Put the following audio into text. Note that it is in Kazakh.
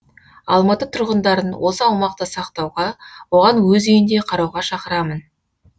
алматы тұрғындарын осы аумақты сақтауға оған өз үйіндей қарауға шақырамын